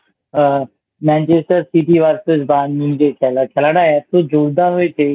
আ Manchester City Vs Barhum যে খেলাটা খেলাটা এত জোরদার হয়েছে